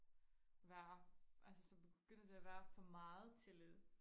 være altså så begynder det og være for meget tillid